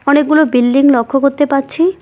অনেকগুলো বিল্ডিং লক্ষ করতে পাচ্ছি।